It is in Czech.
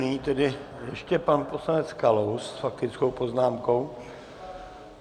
Nyní tedy ještě pan poslanec Kalous s faktickou poznámkou.